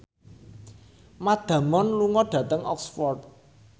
Matt Damon lunga dhateng Oxford